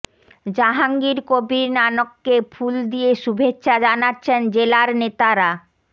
জাহাঙ্গীর কবির নানককে ফুল দিয়ে শুভেচ্ছা জানাচ্ছেন জেলার নেতারা